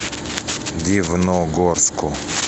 дивногорску